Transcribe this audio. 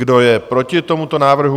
Kdo je proti tomuto návrhu?